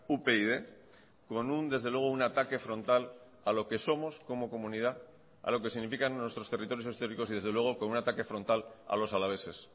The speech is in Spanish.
upyd con un desde luego un ataque frontal a lo que somos como comunidad a lo que significan nuestros territorios históricos y desde luego con un ataque frontal a los alaveses